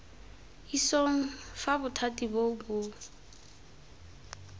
isong fa bothati boo bo